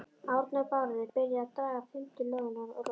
Árni og Bárður byrjaðir að draga fimmtu lóðina, lóð